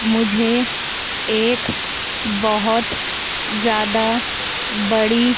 मुझे एक बहुत ज्यादा बड़ी--